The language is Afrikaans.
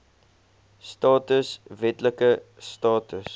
status wetlike status